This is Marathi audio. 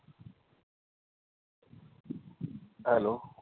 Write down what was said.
hello